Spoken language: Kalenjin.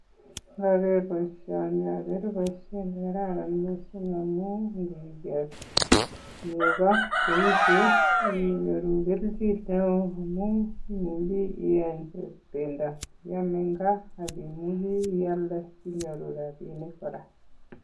Ndoger boisioni ogere boisiet ne karan mising amun iniger nego cheu chu, inyoru kelchin neo amun imuchi iyeny bendo iam en gaa ak imuchi ialde sinyoru rabinik kora.